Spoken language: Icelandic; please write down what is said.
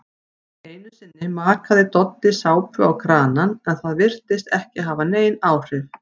Einusinni makaði Doddi sápu á kranann en það virtist ekki hafa nein áhrif.